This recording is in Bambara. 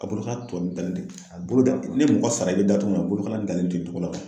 A bolokala tɔ dalen de, a bolo da ni mɔgɔ sara i be da cogo min a bolokala dalen ten togo la.